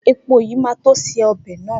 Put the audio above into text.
Epo yìí máa tó se ọbè náà.